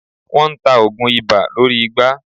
Wọ́n ta oògùn ibà lórí igbá.